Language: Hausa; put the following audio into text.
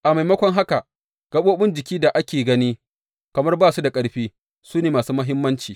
A maimakon haka, gaɓoɓin jiki da ake gani kamar ba su da ƙarfi, su ne masu muhimmanci.